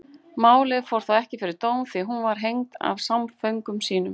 Málið fór þó ekki fyrir dóm því hún var hengd af samföngum sínum.